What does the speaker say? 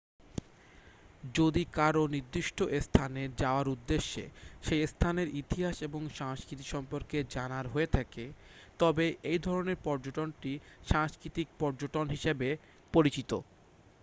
যদি কারও নির্দিষ্ট স্থানে যাওয়ার উদ্দেশ্য সেই স্থানের ইতিহাস এবং সংস্কৃতি সম্পর্কে জানার হয়ে থাকে তবে এই ধরণের পর্যটনটি সাংস্কৃতিক পর্যটন হিসাবে পরিচিত